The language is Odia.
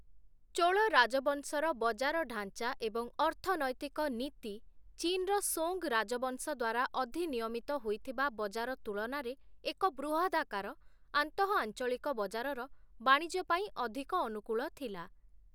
ଚୋଳ ରାଜବଂଶର ବଜାର ଢାଂଚା ଏବଂ ଅର୍ଥନୈତିକ ନୀତି, ଚୀନ୍‌ର ସୋଙ୍ଗ୍‌ ରାଜବଂଶ ଦ୍ୱାରା ଅଧିନିୟମିତ ହୋଇଥିବା ବଜାର ତୁଳନାରେ ଏକ ବୃହଦାକାର, ଆନ୍ତଃ-ଆଞ୍ଚଳିକ ବଜାରର ବାଣିଜ୍ୟ ପାଇଁ ଅଧିକ ଅନୁକୂଳ ଥିଲା ।